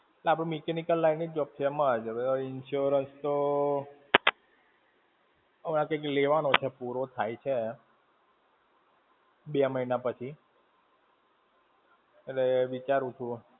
અરે આપણી mechanical line ની job છે એમાં જ. હવે આ insurance તો, હવે આ કંઈક લેવાનો છે પૂરો થાય છે, બે મહિના પછી, એટલે વિચારું છું.